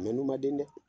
n'u man den dɛ